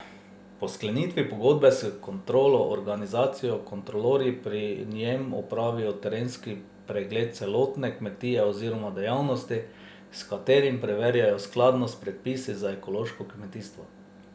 Po sklenitvi pogodbe s kontrolno organizacijo kontrolorji pri njem opravijo terenski pregled celotne kmetije oziroma dejavnosti, s katerim preverjajo skladnost s predpisi za ekološko kmetijstvo.